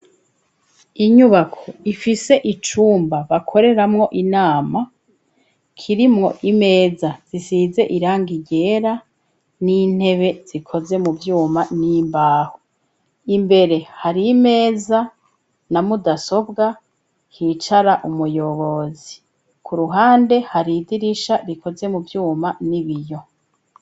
Inyubako ifise icumba bakoreramwo inama kirimwo imeza zisize iranga irera n'intebe zikoze mu vyuma n'imbaho imbere hari imeza na mudasobwa hicara umuyobozi kuruha ande haridirisha rikoze mu vyuma n'ibiyo.